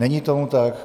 Není tomu tak.